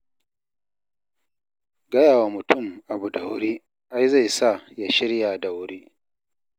Gayawa mutum abu da wuri ai zai sa ya shirya da wuri.